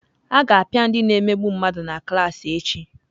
A ga-apịa ndị na-emegbu mmadụ na klaasị echi.